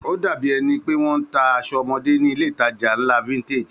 Ó dàbí ẹni pé wọ́n ń ta aṣọ ọmọdé nílé-ìtajà ńlá Vintage